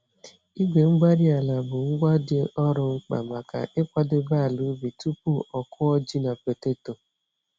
Igwe-mgbárí-ala bụ ngwa dị ọrụ mkpa maka ịkwadebe ala ubi tupu ọ kụọ ji na poteto.